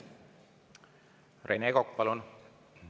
Rene Kokk, palun!